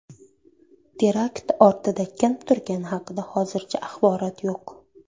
Terakt ortida kim turgani haqida hozircha axborot yo‘q.